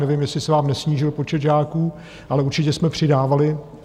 Nevím, jestli se vám nesnížil počet žáků, ale určitě jsme přidávali.